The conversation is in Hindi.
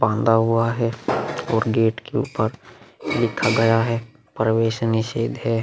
बांधा हुआ है और गेट के ऊपर लिखा गया है प्रवेशनिषेध है।